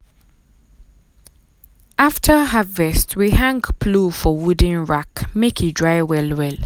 after harvest we hang plow for wooden rack make e dry well well.